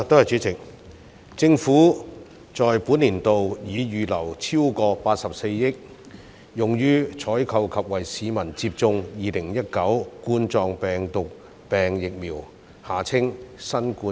主席，政府在本財政年度已預留超過84億元，用於採購及為市民接種2019冠狀病毒病疫苗。